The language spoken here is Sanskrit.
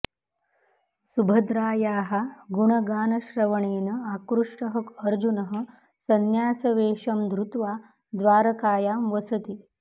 सुभद्रायाः गुणगानश्रवणेन आकृष्टः अर्जुनः संन्यासवेषं धृत्वा द्वारकायां वसति